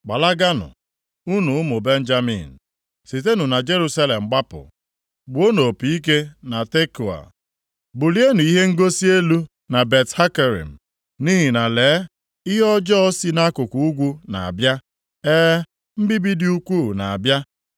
“Gbalaganụ unu ụmụ Benjamin! Sitenụ na Jerusalem gbapụ! Gbuonụ opi ike na Tekoa! Bulienụ ihe ngosi elu na Bet-Hakerem! Nʼihi na lee, ihe ọjọọ si nʼakụkụ ugwu na-abịa, e, mbibi dị ukwuu na-abịa.